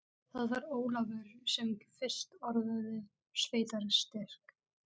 Það var Ólafur sem fyrst orðaði sveitarstyrk.